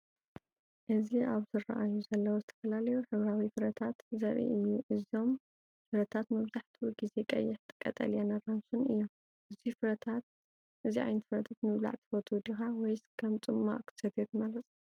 እዚ ኣብ ዝራኣዩ ዘለው ዝተፈላለዩ ሕብራዊ ፍረታት ዘርኢ እዩ። እዞም ፍረታት መብዛሕትኡ ግዜ ቀይሕ፣ ቀጠልያን ኣራንሺን እዮም። እዙይ ዓይነት ፍረታት ምብላዕ ትፈቱ ዲኻ? ወይስ ከም ጽማቝ ክትሰትዮ ትመርጽ?